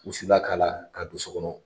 Wusulan k'a la ka don so kɔnɔ.